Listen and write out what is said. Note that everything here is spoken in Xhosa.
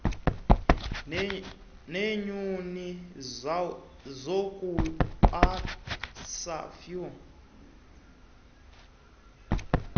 neenkuni zokubasa fuel